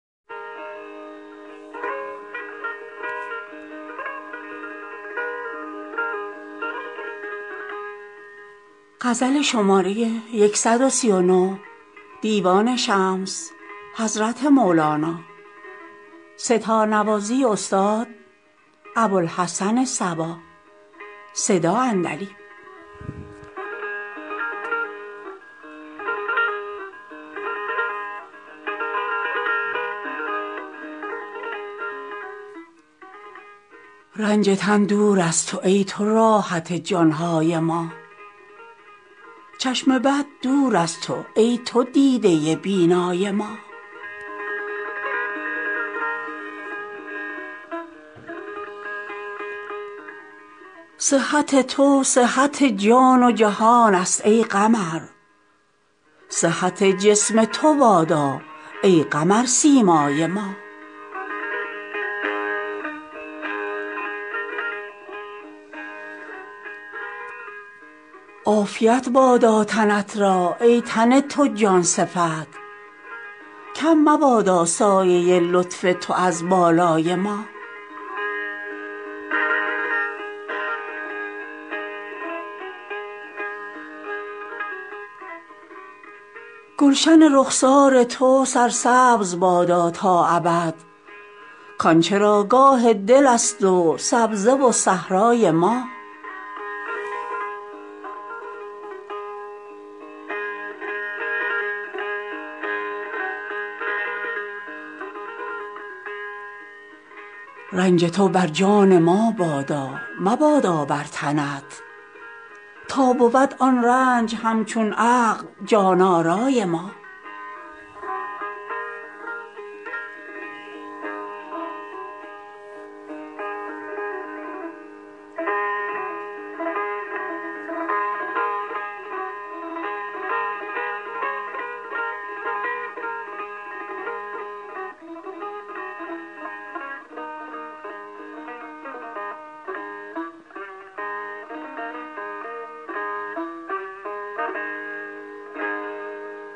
رنج تن دور از تو ای تو راحت جان های ما چشم بد دور از تو ای تو دیده بینای ما صحت تو صحت جان و جهانست ای قمر صحت جسم تو بادا ای قمرسیمای ما عافیت بادا تنت را ای تن تو جان صفت کم مبادا سایه لطف تو از بالای ما گلشن رخسار تو سرسبز بادا تا ابد کان چراگاه دلست و سبزه و صحرای ما رنج تو بر جان ما بادا مبادا بر تنت تا بود آن رنج همچون عقل جان آرای ما